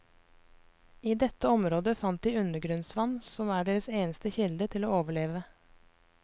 I dette området fant de undergrunnsvann som er deres eneste kilde til å overleve.